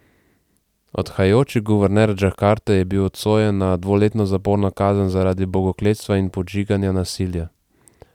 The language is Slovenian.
Odhajajoči guverner Džakarte je bil obsojen na dvoletno zaporno kazen zaradi bogokletstva in podžiganja nasilja.